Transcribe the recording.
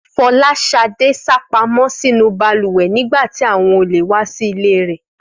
Fọláṣadé sá pamọ́ sínú balùwẹ̀ nígbà tí àwọn olè wá sí ilé rẹ̀